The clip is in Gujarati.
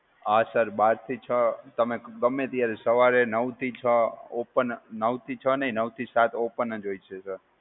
હા sir બાર થી છ તમે ગમે ત્યારે, સવારે નવથી છ open નવથી છ નહીં નવથી સાત open જ હોય છે, sir.